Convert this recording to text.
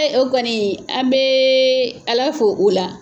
o kɔni an bɛ ALA fo o la.